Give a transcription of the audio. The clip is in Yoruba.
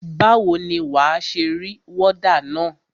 Báwo ni wà á ṣe rí wọ́dà na?